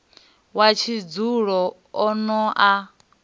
wa tshidzulo o no a